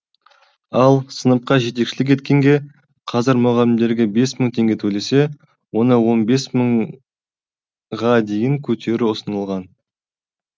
ал сыныпқа жетекшілік еткенге қазір мұғалімдерге бес мың теңге төлесе оны он бес мыңға дейін көтеру ұсынылған